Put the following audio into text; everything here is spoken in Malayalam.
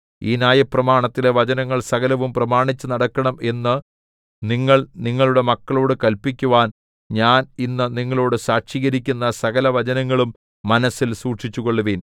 ഈ ന്യായപ്രമാണത്തിലെ വചനങ്ങൾ സകലവും പ്രമാണിച്ചു നടക്കണം എന്ന് നിങ്ങൾ നിങ്ങളുടെ മക്കളോടു കല്പിക്കുവാൻ ഞാൻ ഇന്ന് നിങ്ങളോട് സാക്ഷീകരിക്കുന്ന സകലവചനങ്ങളും മനസ്സിൽ സൂക്ഷിച്ചുകൊള്ളുവിൻ